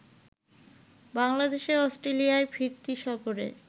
বাংলাদেশের অস্ট্রেলিয়ায় ফিরতি সফরে